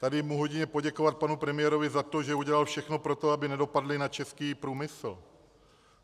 Tady mohu jedině poděkovat panu premiérovi za to, že udělal všechno pro to, aby nedopadly na český průmysl.